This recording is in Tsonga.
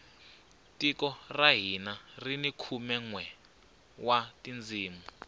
tiko ra hina rini khume nwe wa tindzimi